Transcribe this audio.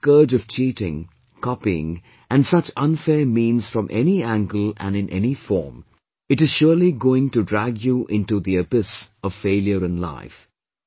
Look at the scourge of cheating, copying and such unfair means from any angle and in any form; it is surely going to drag you into the abyss of failure in life